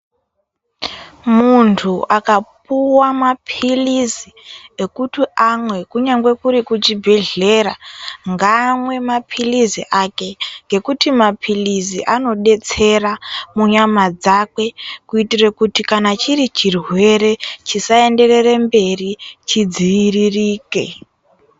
Muntu akapuwa maphilizi ekuti amwe kunyange kuri kuchibhedhlera, ngaamwe maphilizi ake, Ngekuti maphilizi anodetsera munyama dzakwe, kuitire kuti kana chiri chirwere, chisaenderere mberi, chidziiririke.